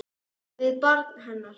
Við barn hennar.